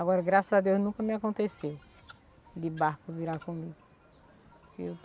Agora, graças a Deus, nunca me aconteceu de barco virar comigo.